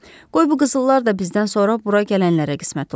Qoy bu qızıllar da bizdən sonra bura gələnlərə qismət olsun.